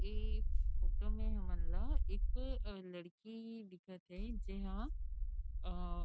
ए photo में हमन ला एक लड़की दिखत थे जे हमन ला अ